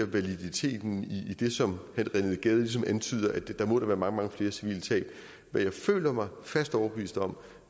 validiteten i det som herre rené gade ligesom antyder nemlig at der da må være mange mange flere civile tab hvad jeg føler mig fast overbevist om